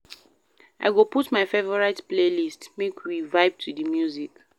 I go put my favorite playlist, make we vibe to di music.